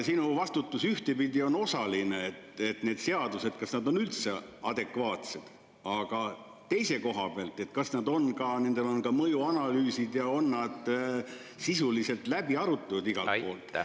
Sinu vastutus ühtpidi on osaline, et kas need seadused on üldse adekvaatsed, aga teise koha pealt, kas nendel on ka mõjuanalüüsid ja kas nad on sisuliselt läbi arutatud.